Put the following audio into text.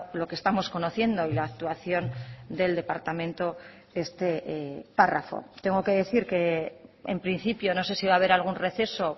lo que estamos conociendo y la actuación del departamento este párrafo tengo que decir que en principio no sé si va a haber algún receso